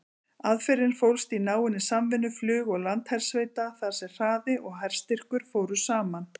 Aðferðin fólst í náinni samvinnu flug- og landhersveita þar sem hraði og herstyrkur fóru saman.